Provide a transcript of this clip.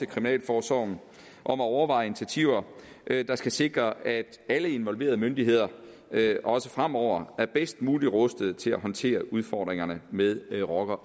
kriminalforsorgen at overveje initiativer der skal sikre at alle involverede myndigheder også fremover er bedst muligt rustet til at håndtere udfordringerne med med rocker